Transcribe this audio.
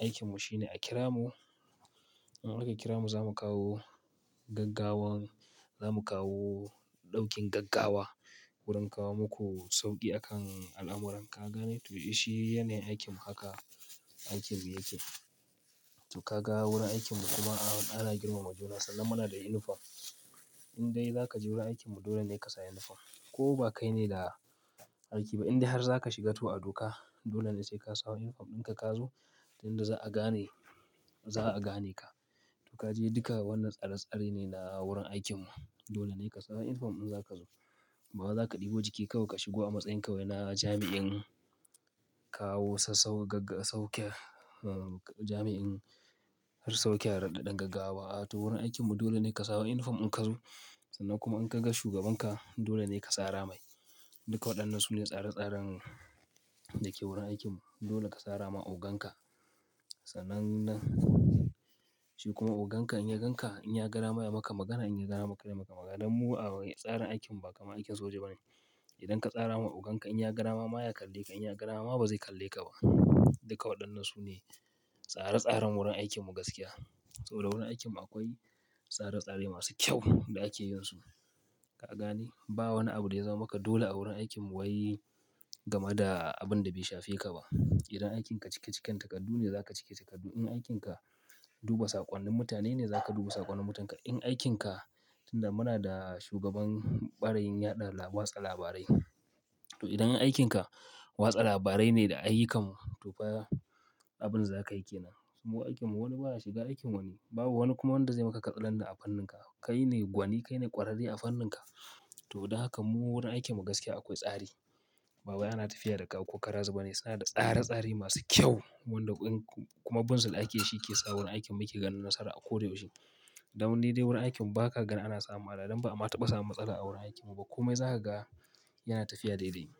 aikinmu shine a kira mu. In aka kira mu za mu kawo gaggawan, za mu kawo ɗaukin gaggawa wurin kawo muku sauƙi akan al'amuran. Ka gane? To shi yana aikinmu. Haka aikinmu yake. Ka ga wurin aikinmu kuma ana girmama juna sannan muna da unifom. In dai za ka je wurin aikinmu dole ne ka sa inifom. Ko ba kai ne da aiki ba indai har za ka shiga to a duka dole ne sai ka sawo inifom ɗinka ka zo tunda za'a gane, za'a gane ka. To kaje duka wannan tsare-tsare ne na wurin aikinmu. Dole ne ka sawo inifom in za ka zo. Ba za ka ɗebo jiki kawai ka shigo a matsayin ka wena jami'in kawo sassau-gagg-saukiya, uh, jami'in har saukiya raɗaɗan gaggawa. To wurin aikinmu dole ne ka sawo inifom in ka zo sannan kuma in ka ga shugabanka dole ne ka tsara mai. Duka waɗannan su ne tsare-tsaren dake wurin aikinmu. Dole ka sara ma ogan ka. Sanannen shi kuma ogan ka in ya gan ka, in ya gara mai maka magana, in ya gada yai maka magana inya ga dama kay yayi magana dan mu a tsarin aikinmu ba kamar aikin soja ba ne. Idan ka tsara ma ogan ka in ya gada ma ma ya kalle ka, in ya gada ma ba zai kalle ka ba. Duka waɗannan su ne tsare-tsaren wurin aikinmu gaskiya. Saboda wurin aikinmu akwai tsare-tsare masu kyau da ake yin su. Ka gane? Ba wani abu daya zama maka dole a wurin aikinmu wai game da abin da bai shafe ka ba. Idan aikin ka cike-ciken takardu ne za ka cike takardu. In aikin ka duba saƙonnin mutane ne za ka duba saƙonnin mutane. In aikin ka, tunda muna da shugaban ɓarayin yaɗa laba-watsa labarai, to idan aikin ka watsa labarai ne da a yi ka mu to fa abin da za ka yi ke nan. Mu aikinmu wani ba za shiga aikin wani. Babu wani kuma wanda zai maka katsalandan a fannin ka. Kai ne gwani, kai ne ƙwararre a fannin ka. To don haka mu wurin aikinmu gaskiya akwai tsari. Bawai ana tafiya da ka ko kara zu be ne? Suna da tsare-tsare masu kyau wanda in kuma bunsul ake yi shi ke sa wurin aikinmu ake ganin nasara a ko da yaushe. Don ni dai wurin aikinmu ba ka gane ana samu hada don ba'a taɓa samu matsala a wurin aikinmu ba. Komai zaka ga yana tafiya daidai.